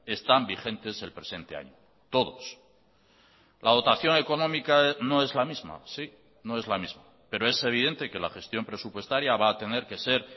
están vigentes el presente año todos la dotación económica no es la misma sí no es la misma pero es evidente que la gestión presupuestaria va a tener que ser